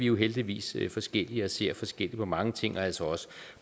jo heldigvis forskellige og ser forskelligt på mange ting og altså også